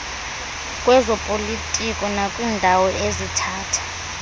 lwezopolitiko nakwiindawo ezithatha